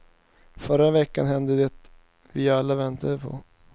Förra veckan hände det vi alla väntade på.